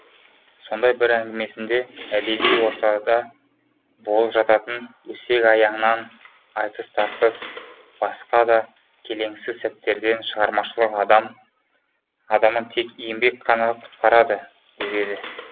сондай бір әңгімесінде әдеби ортада болып жататын өсек аяңнан айтыс тартыс басқа да келеңсіз сәттерден шығармашылық адамын тек еңбек қана құтқарады деп еді